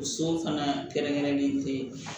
O so fana kɛrɛnkɛrɛnnen te